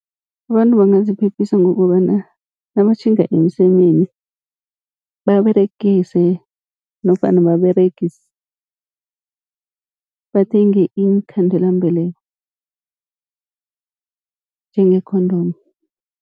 Abantu bangaziphephisa ngokobana nabatjhinga emsemeni, baberegise nofana bathenge iinkhandelambeleko njenge-condom.